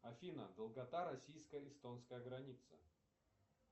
афина долгота российско эстонской границы